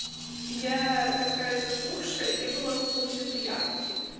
я такая запухшая я была после пьянки